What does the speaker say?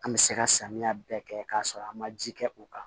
An bɛ se ka samiya bɛɛ kɛ k'a sɔrɔ an ma ji kɛ o kan